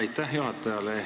Aitäh juhatajale!